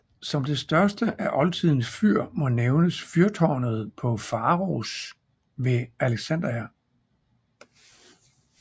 Som det største af oldtidens fyr må nævnes fyrtårnet på Faros ved Alexandria